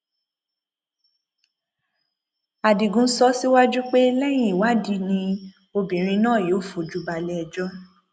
adigun sọ síwájú pé lẹyìn ìwádì ni obìnrin náà yóò fojú balẹẹjọ